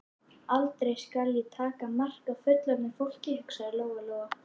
Aldrei skal ég taka mark á fullorðnu fólki, hugsaði Lóa Lóa.